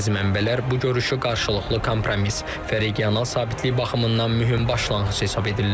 Bəzi mənbələr bu görüşü qarşılıqlı kompromis və regional sabitlik baxımından mühüm başlanğıc hesab edirlər.